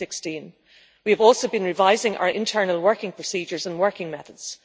2016. We have also been revising our internal working procedures and working methods.